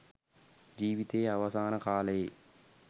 ජීවිතයේ අවසාන කාලයේ